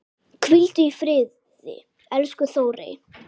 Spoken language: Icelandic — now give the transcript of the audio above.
Hvíldu í friði, elsku Þórey.